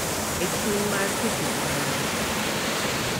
E chuny mar keto ohinga